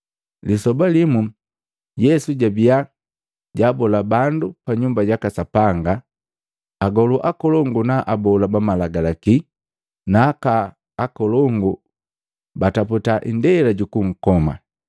Lisoba limu Yesu jabia jaabola bandu pa Nyumba jaka Sapanga. Agolu akolongu, na abola ba Malagalaki na aka akolongu bataputa indela jukunkoma,